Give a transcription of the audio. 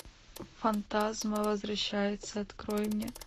фантазм возвращается открой мне